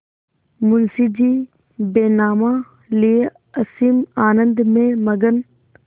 मुंशीजी बैनामा लिये असीम आनंद में मग्न